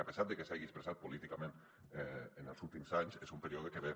a pesar de que s’hagi expressat políticament en els últims anys és un període que ve